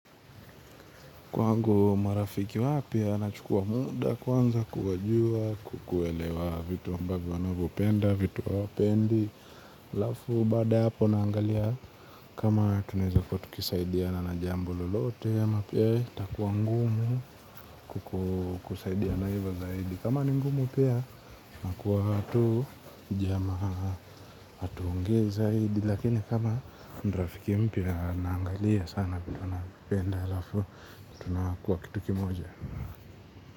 Kwangu marafiki wapya anachukua muda kwanza kuwajua kukuelewa vitu ambavyo wanavyopenda vitu hawapendi halafu baada ya hapo naangalia kama tunaeza kuwa tukisaidiana na jambo lolote ama pia itakuwa ngumu kukusaidiana hivo zaidi kama ni ngumu pia inakuwa tu jamaa hatuongei zaidi lakini kama ni rafiki mpya naangalia sana vitu anapenda halafu tunakuwa kitu kimoja.